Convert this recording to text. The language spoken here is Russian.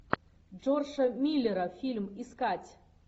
джорджа миллера фильм искать